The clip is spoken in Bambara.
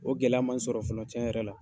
O gɛlɛya man n sɔrɔ fɔlɔ cɛn yɛrɛ la.